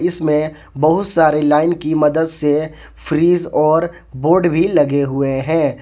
इसमें बहुत सारे लाइन की मदद से फ्रिज और बोर्ड भी लगे हुए हैं।